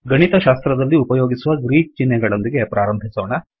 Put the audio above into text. ಗಣಿತಶಾಸ್ತ್ರದಲ್ಲಿ ಉಪಯೋಗಿಸುವ ಗ್ರೀಕ್ ಚಿಹ್ನೆಗಳೊಂದಿಗೆ ಪ್ರಾರಂಭಿಸೊಣ